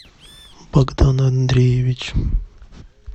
богдан андреевич